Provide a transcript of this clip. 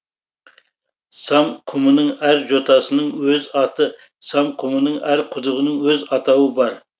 сам құмының әр жотасының өз аты сам құмының әр құдығының өз атауы бар